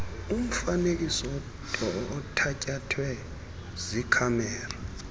umfanekiso othatyathwe yikhamera